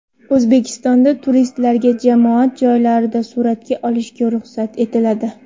O‘zbekistonda turistlarga jamoat joylarida suratga olishga ruxsat etiladi.